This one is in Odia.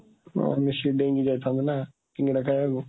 ହଁ, ମିଶିକି ଡେଇଁକି ଯାଇଥାନ୍ତେ, ନା? ସିଙ୍ଗଡ଼ା ଖାଇବାକୁ